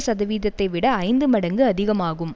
சதவீதத்தை விட ஐந்து மடங்கு அதிகமாகும்